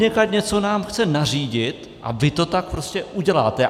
Odněkud něco nám chce nařídit a vy to tak prostě uděláte.